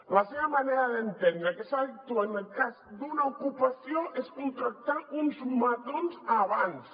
la seva manera d’entendre que s’ha d’actuar en cas d’una ocupació és contractar uns matons abans